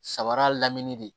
Sabara lamini de